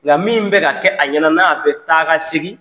Nka min bɛ ka kɛ, a ɲɛna, n'a bɛ taga segin